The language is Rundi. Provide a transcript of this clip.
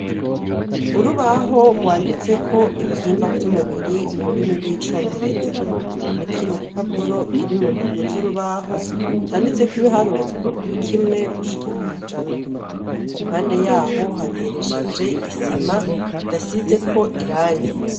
Urubaho rwanditseko ibihimba vy'umubiri mururimi rw'icongereza, n'ikindi gipapapuro kiri mu mbavu z'urubaho canditseko ibiharuro kuva kuri kimwe gushika kw'ijana, impande yaho hateresheje isima idasizeko irangi.